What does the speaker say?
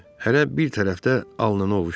Hərə bir tərəfdə alnını ovuşdurur.